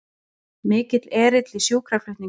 Mikill erill í sjúkraflutningum